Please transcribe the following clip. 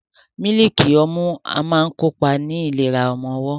Mílíìkì ọmú a máa kópa ní ìlera ọmọwọ́.